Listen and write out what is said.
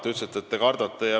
Te ütlesite, et te kardate.